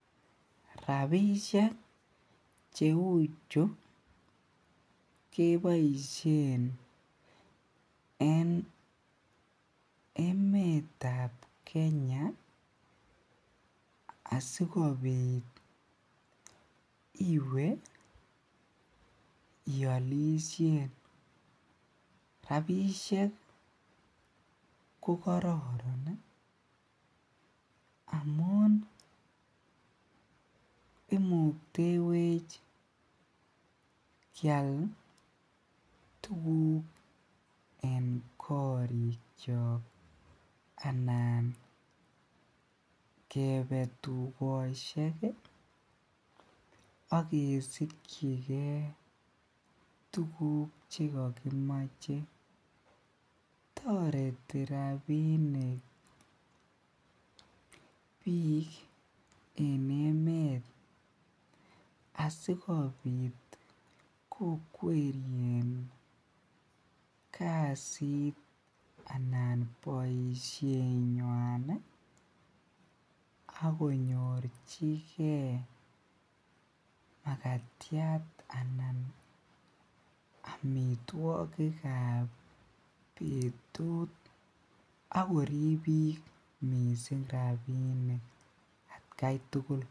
Rabisiek cheuuchu keboisien en emeetab Kenya asikobit iwe ialisien rabisiek ko kararan ih amuun imuktewech kial tuguk en korikiak anan kebe tuyosiek age asikyige tuguk chekakimache tareti rabinik bik en emeet asikobit kokwerien kasit anan boisiet nyuan ih konyorchike magatiat anan amituakik kab betut. Ako ribik rabinik.